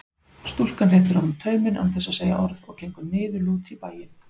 Stúlkan réttir honum tauminn án þess að segja orð og gengur niðurlút í bæinn.